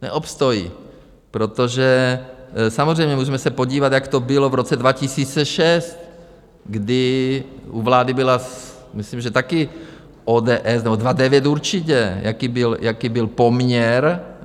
Neobstojí, protože samozřejmě můžeme se podívat, jak to bylo v roce 2006, kdy u vlády byla myslím že taky ODS, nebo 2009 určitě, jaký byl poměr?